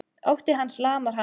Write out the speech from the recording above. Ótti hans lamar hana.